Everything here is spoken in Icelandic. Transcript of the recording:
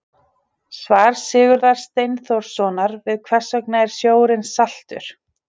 Svar Sigurðar Steinþórssonar við Hvers vegna er sjórinn saltur?